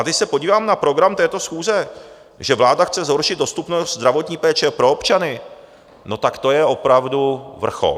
A když se podívám na program této schůze, že vláda chce zhoršit dostupnost zdravotní péče pro občany, no tak to je opravdu vrchol.